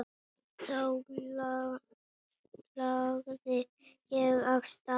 Þá lagði ég af stað.